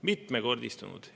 Mitmekordistunud!